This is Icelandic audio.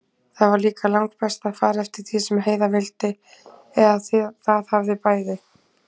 Það var líka langbest að fara eftir því sem Heiða vildi, eða það hafði bæði